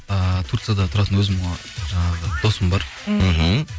ыыы турцияда тұратын өзімнің жаңағы досым бар мхм